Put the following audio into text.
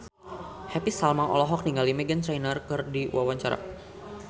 Happy Salma olohok ningali Meghan Trainor keur diwawancara